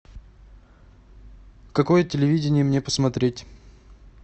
какое телевидение мне посмотреть